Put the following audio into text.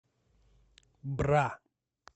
бра